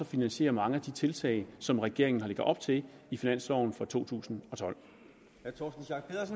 finansiere mange af de tiltag som regeringen lægger op til i finansloven for totusinde